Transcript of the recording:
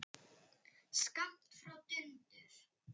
Skammt frá dundar